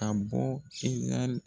a bɔ .